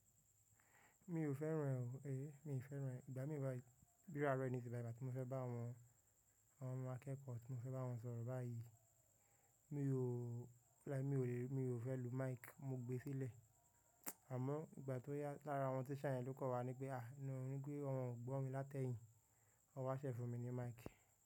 Mi ò fẹ́ràn e ọ̀, mi fẹ́ràn. Ìgbà mí báyi, bí arọ̀ yi níṣìbàì, ìgbà tí mo fẹ́ bá àwọn ọmọ akẹ́kọ̀ọ́, tí mo fẹ́ bá wọn sọ̀rọ̀ báyìí, mi ò, like mi ò lè, mi ò fẹ́ lu mic mo gbe sílẹ̀. Àmọ́ ìgbà tó yá lára àwọn teacher yen ló kọ́ wa ní pé, à no ní pé wọn ò gbọ́ mi látẹ̀yìn. Wọ́n wá ṣẹ̀ fún mi ní mic.